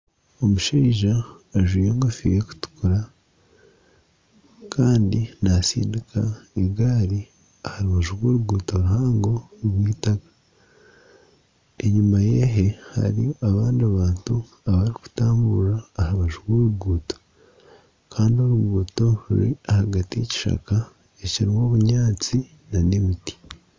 Omushaija ajwire engofiira erikutukura kandi naatsindika egaari aha rubaju rw'oruguuto ruhango rw'itaka. Enyima ye hariyo abandi bantu abarikutambura aha rubaju rw'oruguuto kandi oruguuto ruri aha rubaju rw'ekishaka ekiriho obunyaatsi n'emiti.